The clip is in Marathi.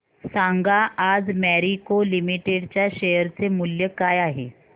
सांगा आज मॅरिको लिमिटेड च्या शेअर चे मूल्य काय आहे